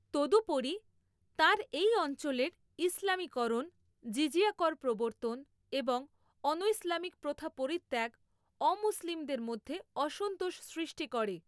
তদুপরি, তাঁর এই অঞ্চলের ইসলামিকরণ, জিজিয়া কর প্রবর্তন এবং অনৈসলামিক প্রথা পরিত্যাগ অমুসলিমদের মধ্যে অসন্তোষ সৃষ্টি করে।